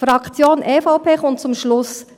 Die Fraktion EVP kommt zum Schluss: